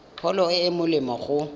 pholo e e molemo go